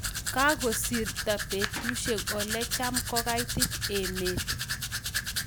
Kagosirto betushiek olecham kogaitit emet